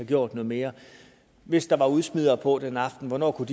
gjort noget mere hvis der var udsmider på den aften hvornår kunne